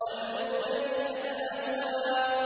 وَالْمُؤْتَفِكَةَ أَهْوَىٰ